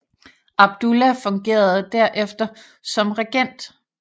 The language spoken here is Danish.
Abdullah fungerede der efter som regent